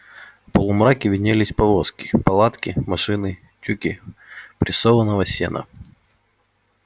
в полумраке виднелись повозки палатки машины тюки прессованного сена